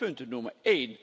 Ik wil vijf punten noemen